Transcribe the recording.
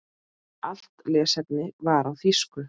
Allt lesefni var á þýsku.